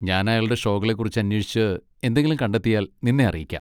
ഞാൻ അയാളുടെ ഷോകളെ കുറിച്ച് അന്വേഷിച്ച് എന്തെങ്കിലും കണ്ടെത്തിയാൽ നിന്നെ അറിയിക്കാം.